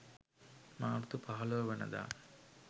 මාර්තු 15 වන දා